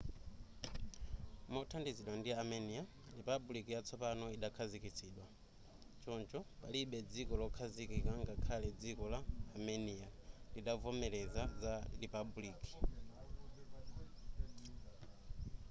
mothandizidwa ndi armenia lipabuliki yatsopano idakhazikitsidwa choncho palibe dziko lokhazikika ngakhale dziko la armenia-lidavomereza za lipabuliki